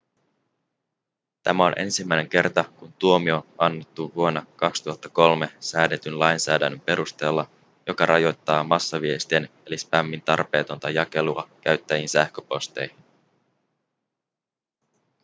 tämä on ensimmäinen kerta kun tuomio on annettu vuonna 2003 säädetyn lainsäädännön perusteella joka rajoittaa massaviestien eli spämmin tarpeetonta jakelua käyttäjien sähköposteihin